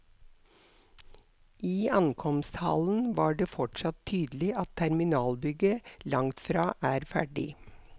I ankomsthallen var det fortsatt tydelig at terminalbygget langtfra er ferdig.